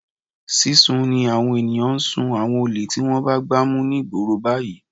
Sísun ni àwọn ènìyàn ń sún àwọn olè tí wọ́n bá gbá mú ní ìgboro báyìí.